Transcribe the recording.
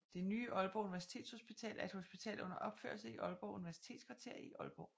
Det nye Aalborg Universitetshospital er et hospital under opførelse i Aalborg Universitetskvarter i Aalborg